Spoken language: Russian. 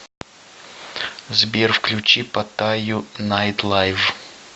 сбер включи паттаю найтлайв